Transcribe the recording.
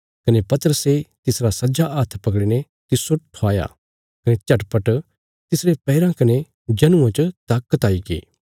कने पतरसे तिसरा सज्जा हाथ पकड़ीने तिस्सो उठाया कने झटपट तिसरे पैराँ कने जनुआं च ताकत आईगी